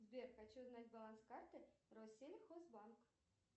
сбер хочу узнать баланс карты россельхозбанк